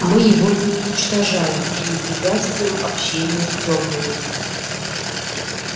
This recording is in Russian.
мы его не уничтожаем и не препятствуем общению с тёмными